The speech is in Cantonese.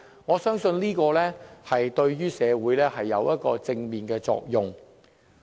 我相信這點對於社會是有正面作用的。